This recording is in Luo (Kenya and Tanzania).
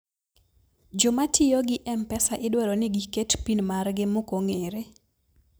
jomatiyogi mpesa idwaroni giket pin margi mokong'ere